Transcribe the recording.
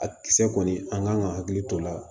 A kisɛ kɔni an kan ka hakili to o la